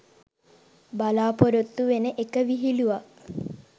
බලාපොරොත්තු වෙන එක විහිලුවක්.